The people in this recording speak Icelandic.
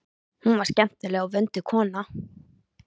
Hún var skemmtileg og vönduð kona.